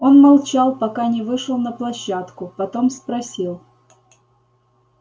он молчал пока не вышел на площадку потом спросил